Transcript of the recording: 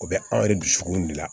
O bɛ anw yɛrɛ dusukun de la